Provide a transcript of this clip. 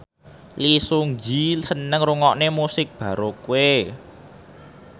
Lee Seung Gi seneng ngrungokne musik baroque